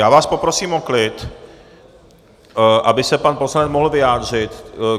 Já vás poprosím o klid, aby se pan poslanec mohl vyjádřit.